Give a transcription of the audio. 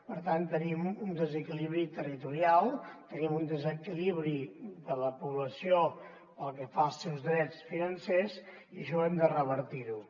per tant tenim un desequilibri territorial tenim un desequilibri de la població pel que fa als seus drets financers i això hem de revertir ho